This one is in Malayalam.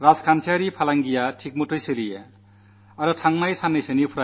അതായത് സാമ്പത്തിക ബിസിനസ്സും ശരിയായ നടക്കണമെന്നാഗ്രഹിക്കുന്നു